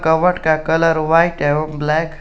कवड का colour white एवं black है।